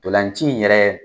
Ntolan ci in yɛrɛ